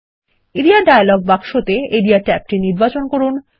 area dialog বাক্সে আরিয়া ট্যাবটি নির্বাচন করুন